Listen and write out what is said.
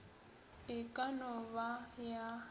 e ka no ba ya